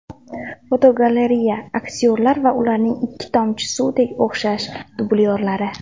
Fotogalereya: Aktyorlar va ularning ikki tomchi suvdek o‘xshash dublyorlari.